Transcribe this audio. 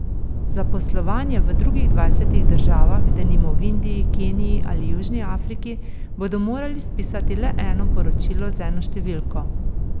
Za poslovanje v drugih dvajsetih državah, denimo v Indiji, Keniji ali Južni Afriki, bodo morali spisati le eno poročilo z eno številko.